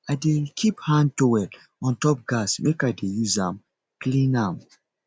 i dey keep hand towel on top gas make i dey use am clean am